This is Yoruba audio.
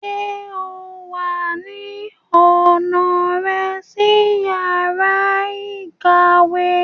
Ṣe o wa ni ọna rẹ si yara ikawe?